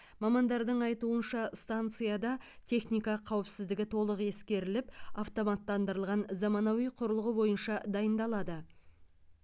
мамандардың айтуынша станцияда техника қауіпсіздігі толық ескеріліп автоматтандырылған заманауи құрылғы бойынша дайындалады